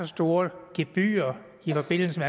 store gebyrer i forbindelse